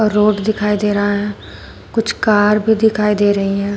Road दिखाई दे रहा है कुछ कार भी दिखाई दे रही है।